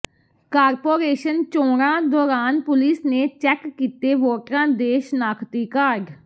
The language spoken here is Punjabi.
ਕਾਰਪੋਰੇਸ਼ਨ ਚੋਣਾਂ ਦੌਰਾਨ ਪੁਲਿਸ ਨੇ ਚੈਕ ਕੀਤੇ ਵੋਟਰਾਂ ਦੇ ਸ਼ਨਾਖਤੀ ਕਾਰਡ